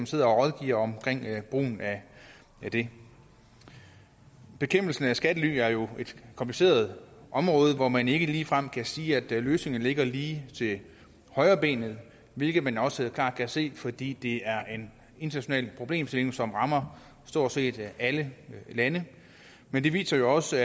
sidder og rådgiver omkring brugen af det bekæmpelsen af skattely er jo et kompliceret område hvor man ikke ligefrem kan sige at løsningen ligger lige til højrebenet hvilket man også klart kan se fordi det er en international problemstilling som rammer stort set alle lande men det viser jo også